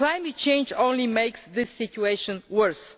climate change only makes this situation worse.